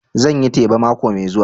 Zan yi teba mako mai zuwa